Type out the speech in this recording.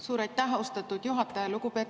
Suur aitäh, austatud juhataja!